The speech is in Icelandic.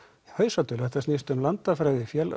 hausatölu þetta snýst um landafræði